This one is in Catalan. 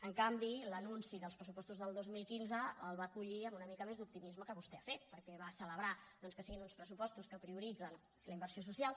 en canvi l’anunci dels pressupostos del dos mil quinze el va acollir amb una mica més d’optimisme del que vostè ha fet perquè va celebrar doncs que siguin uns pressupostos que prioritzen la inversió social